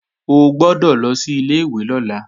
O gbọ́dọ̀ lọ sí ilé-ìwé lọ́la!